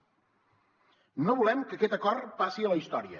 no volem que aquest acord passi a la història